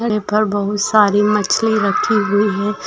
पर बहोत सारी मछ्ली रखी हुई हैं।